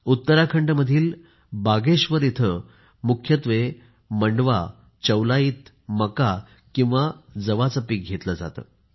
उत्तराखंडमधील बागेश्वर इथे मुख्यत्वे मांडवा चौलाईत मका किंवा जवाचे पिकं घेतले जाते